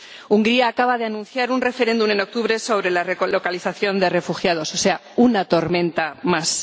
Hungría acaba de anunciar un referéndum en octubre sobre la relocalización de refugiados, o sea, una tormenta más.